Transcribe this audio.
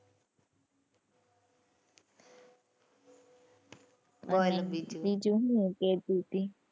બોલ બીજું બીજું શું કેતી હતી?